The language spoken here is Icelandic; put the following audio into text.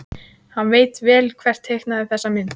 Hann veit vel hver teiknaði þessa mynd.